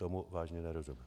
Tomu vážně nerozumím.